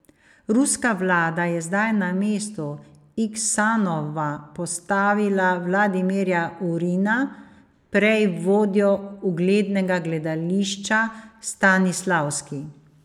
Ruska vlada je zdaj na mesto Iksanova postavila Vladimirja Urina, prej vodjo uglednega gledališča Stanislavski.